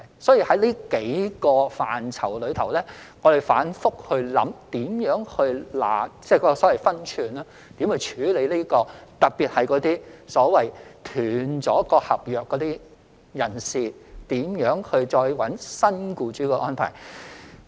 所以，在這數個範疇之中，我們反覆思量，如何拿捏分寸，特別是那些已中斷合約的外傭再尋覓新僱主的安排。